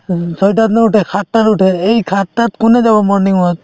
উম, ছয়টাত নুউঠে সাতটাত উঠে এই সাতটাত কোনে যাব morning walk